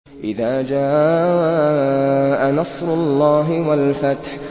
إِذَا جَاءَ نَصْرُ اللَّهِ وَالْفَتْحُ